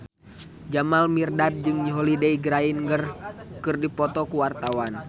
Jamal Mirdad jeung Holliday Grainger keur dipoto ku wartawan